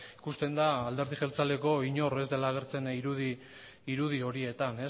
ikusten da alderdi jeltzaleko inork ez dela agertzen irudi horietan